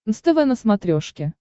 нств на смотрешке